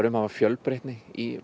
hafa fjölbreytni í